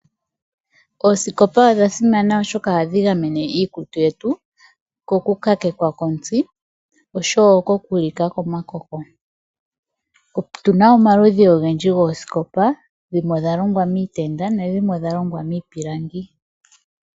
Oosikopa odha simana oshoka ohadhi gamene iikutu yetu kokukakekwa kontsi oshowoo oku lika komakoko, otuna omaludhi ogendji gOosikopa, dhimwe odhalongwa miitenda nadhimwe odhalongwa miipilangi.